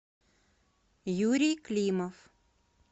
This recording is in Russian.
юрий климов